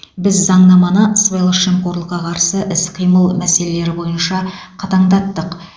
біз заңнаманы сыбайлас жемқорлыққа қарсы іс қимыл мәселелері бойынша қатаңдаттық